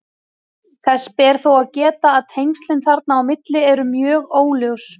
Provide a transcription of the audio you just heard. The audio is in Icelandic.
Þess ber þó að geta að tengslin þarna á milli eru mjög óljós.